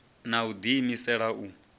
na u ḓi imisela u